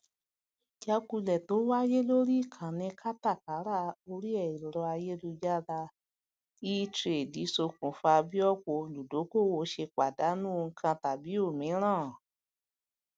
ìjákulẹ tó wáyé lórí ìkànnì kátàkárà orí ẹrọ ayélujára etrade sokùnfà bí ọpọ olùdókoòwò ṣe pàdánù ohun kan tàbí òmíràn